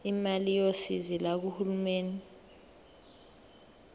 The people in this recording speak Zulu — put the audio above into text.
imali yosizo lukahulumeni